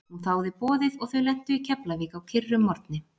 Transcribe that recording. Hún þáði boðið og þau lentu í keflavík á kyrrum morgni.